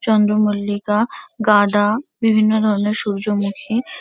চন্দ্রমল্লিকা গাঁদা বিভিন্ন ধরণের সূর্যমুখী ।